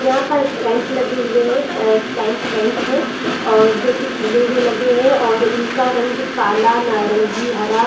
यहाँ पर टेंट लगे हुए है कैंप टेंट है और जो की खुले हुए लगे है और इनका रंग काला नारंगी हरा --